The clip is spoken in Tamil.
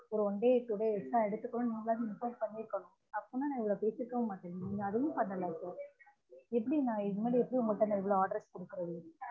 ஒரு one day கூட extra எடுத்துகரோம்னு நீங்களாச்சு instruct பண்ணிருக்கனும் அப்பனா நா இவ்லொ பேசிருக்கவே மாட்டன் நீங்க அதயும் பண்ணல எப்டி நான் உங்க கிட்ட இவ்ளொ orders கொடுக்கறது